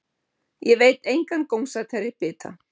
Ég veit engan gómsætari bita.